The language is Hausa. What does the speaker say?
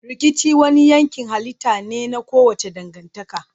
Rikici wani yankin halitta ne na kowace dangantaka.